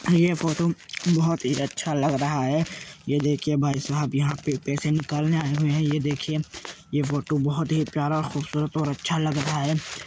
ये फोटो बोहोत ही अच्छा लग रहा है। ये देखिए भाईसाहब यहाँ पे पैसे निकालने आए हुए है। ये देखिए ये फोटो बोहोत ही प्यार खूबसूरत और अच्छा लगा रहा है।